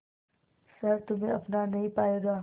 शहर तुम्हे अपना नहीं पाएगा